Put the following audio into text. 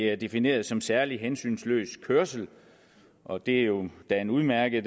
er defineret som særlig hensynsløs kørsel og det er jo da en udmærket